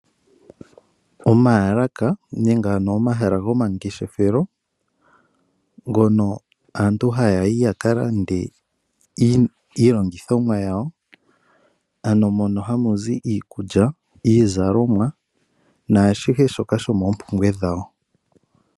Omaalaka nenge ano omahala gomalandithilo ngono aantu haya yi ya kalande iilongithomwa yawo ano mono hamu zi iikulya, iizalomwa naashihe shoka shomoompumbwe dhawo.